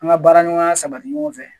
An ka baara ɲɔgɔnya sabati ɲɔgɔn fɛ.